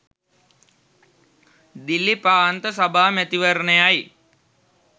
දිල්ලි ප්‍රාන්ත සභා මැතිවරණයයි